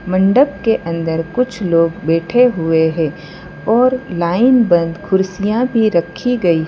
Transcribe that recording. मंडप के अंदर कुछ लोग बैठे हुए हैं और लाइन बंद कुर्सियां भी रखी गई है।